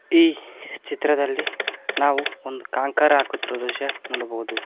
ಈ ಚಿತ್ರದಲ್ಲಿ ನಾವು ಒಂದು ಕಾಂಕರ ಹಾಕುತಿರುವುದು ದೃಶ್ಯ ನೋಡಬಹುದು.